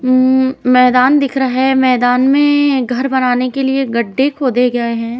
उम मैदान दिख रहा है। मैदान मे घर बनाने के लिए गड्ढे खोदे गए हैं।